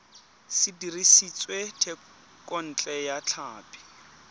se dirisitswe thekontle ya tlhapi